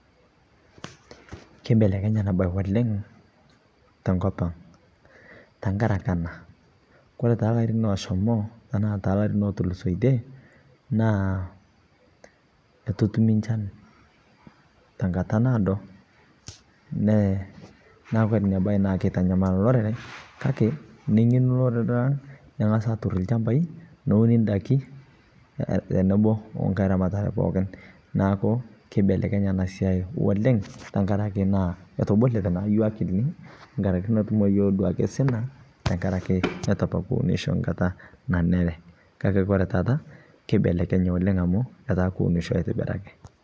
Keibelekenye ana baye oleng to nkopang tang'araki ana, kore taa lairin oshomoo tana loitulusotie atuu atumii echaan te nkaata naodoo. Naaku enia baye naa keitanyamal lorere .Kaki neyeenu lorere ning'asi atuur lchaambai neuni ndaaki teneboo onkaaramata pookin. Naaku keibelekenya ana siai olenng tang'ari etobolue naa yoo akilini ng'araki meetuum yoo duake sinaa. Tang'araki atuu apaa kiumisho nkaata nanere. Kaki kore tata keibelekenya etaa kiumisho aitibiraki.